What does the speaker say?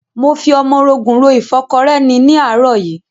Mo fi ọmọrogùn ro ìfọ́kọrẹ́ ni ní àárọ̀ yìí.